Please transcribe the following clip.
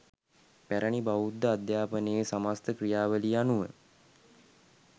පැරැණි බෞද්ධ අධ්‍යාපනයේ සමස්ත ක්‍රියාවලිය අනුව